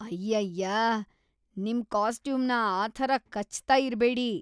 ಅಯ್ಯಯ್ಯಾ, ನಿಮ್ ಕಾಸ್ಟ್ಯೂಮ್‌ನ ಆ ಥರ ಕಚ್ತಾ ಇರ್ಬೇಡಿ.